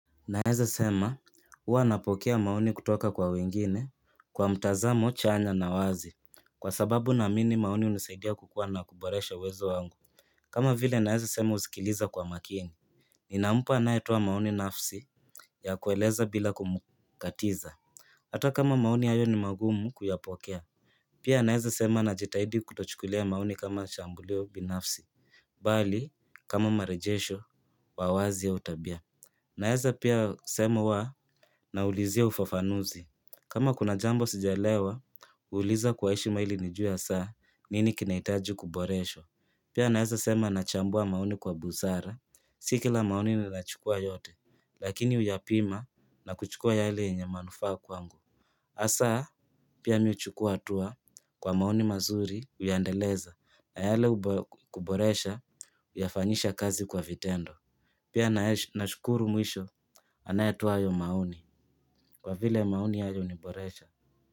Naweza sema huwa napokea maoni kutoka kwa wengine kwa mtazamo chanya na wazi, kwa sababu naamini maoni hunisaidia kukua na kuboresha uwezo wangu. Kama vile naweza sema husikiliza kwa makini. Ninampa anayetoa maoni nafasi ya kueleza bila kumkatiza. Hata kama maoni hayo ni magumu kuyapokea. Pia naweza kusema najitahidi kutochukulia maoni kama shambulio binafsi. Bali kama marejesho wa wazi au tabia. Naweza pia sema huwa naulizia ufafanuzi. Kama kuna jambo sijaelewa, huuliza kwa heshima ili nijue hasa nini kinahitaji kuboreshwa. Pia naweza sema nachambua maoni kwa busara. Si kila maoni ninayachukua yote, lakini huyapima na kuchukua yale yenye manufaa kwangu. Hasa pia mimi huchukua hatua kwa maoni mazuri, huyaendeleza, na yale ya kuboresha huyafanyia kazi kwa vitendo. Pia nashukuru mwisho. Anayetoa hayo maoni kwa vile maoni hayo huniboresha.